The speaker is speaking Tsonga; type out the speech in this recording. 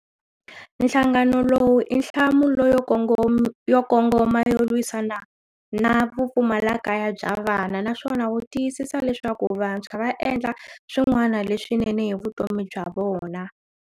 Nhlangano lowu i nhlamulo yo kongoma yo lwisana na vupfumalakaya bya vana naswona wu tiyisisa leswaku vantshwa va endla swin'wana leswinene hi vutomi bya vona.